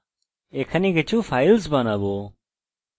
আমি mysql এর directory গঠন দেখাতে যাচ্ছি